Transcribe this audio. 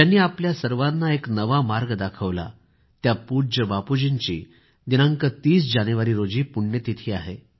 ज्यांनी आपल्या सर्वांना एक नवा मार्ग दाखवला त्या पूज्य बापूजींची दिनांक 30 जानेवारी रोजी पुण्यतिथी आहे